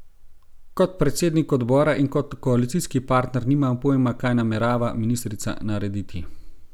Kot predsednik odbora in kot koalicijski partner nimam pojma, kaj namerava ministrica narediti.